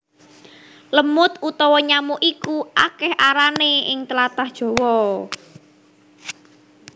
Lemud utawa nyamuk iku akèh arané ing tlatah Jawa